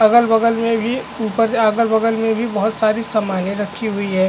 अगल - बगल में भी ऊ अगल - बगल में भी बहुत सारी सामाने रखी हुई है।